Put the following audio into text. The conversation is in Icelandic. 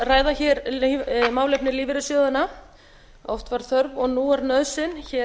ræða hér málefni lífeyrissjóðanna oft var þörf og nú er nauðsyn hér